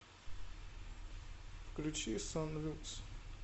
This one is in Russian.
включи сон люкс